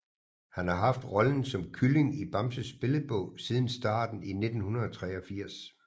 Han har haft rollen som Kylling i Bamses Billedbog siden starten i 1983